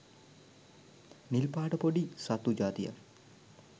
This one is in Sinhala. නිල් පාට පොඩි සත්තු ජාතියක්